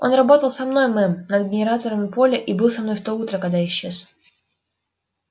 он работал со мной мэм над генераторами поля и был со мной в то утро когда исчез